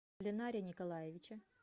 ленаре николаевиче